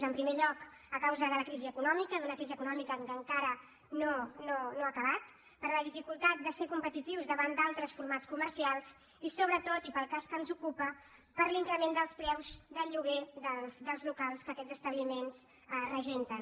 en primer lloc a causa de la crisi econòmica d’una crisi econòmica que encara no ha acabat per la dificultat de ser competitius davant d’altres formats comercials i sobretot i per al cas que ens ocupa per l’increment dels preus del lloguer dels locals que aquests establiments regenten